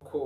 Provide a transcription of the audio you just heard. Inkoko